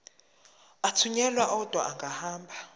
athunyelwa odwa angahambi